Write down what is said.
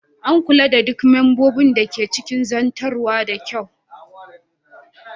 An kula da duk membobin da ke cikin rukunin zartarwa da kyau